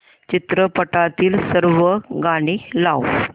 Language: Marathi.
चित्रपटातील सर्व गाणी लाव